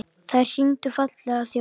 Þær sýndu fallega þjóð.